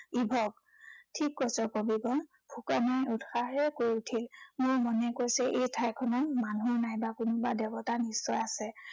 Eve. ঠিক কৈছ, কবিবৰ। ফুকনে উৎসাহেৰে কৈ উঠিল। মোৰ মনে কৈছে এই ঠাইখনত মানুহ নাইবা কোনোবা দেৱতা নিশ্চয় আছে।